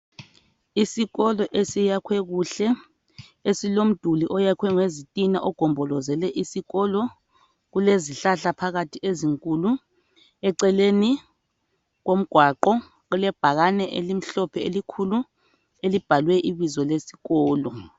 Isikolo esiyakhwe kuhle. Esilomduli oyakhwe ngezitina ogombolozele isikolo. Kulezihlahla phakathi ezinkulu. Eceleni komgwaqo kulebhakane elimhlophe elikhulu, elibhalwe ibizo lesikolo.